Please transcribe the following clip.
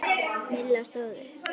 Milla stóð upp.